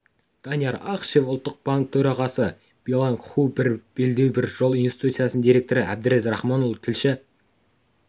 данияр ақышев ұлттық банк төрағасы билианг ху бір белдеу бір жол институтының директоры әбдез рахманұлы тілші